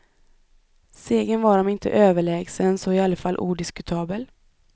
Segern var om inte överlägsen så i alla fall odiskutabel.